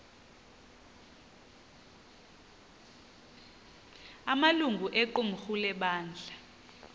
amalungu equmrhu lebandla